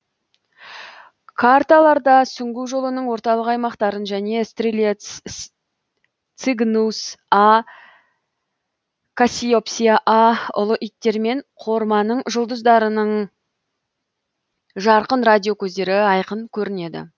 карталарда сүңгу жолының орталық аймақтарын және стрелец цигнус а кассиопсия а ұлы иттер мен қорманың жұлдыздарының жарқын радио көздері айқын көрінеді